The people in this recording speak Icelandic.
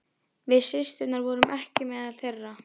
Við systurnar vorum ekki meðal þeirra.